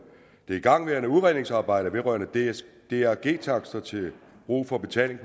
det igangværende udredningsarbejde vedrørende drg takster til brug for betaling